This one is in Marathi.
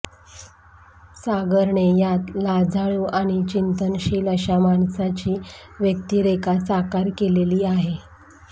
सागरने यात लाजाळू आणि चिंतनशील अशा माणसाची व्यक्तिरेखा साकार केलेली आहे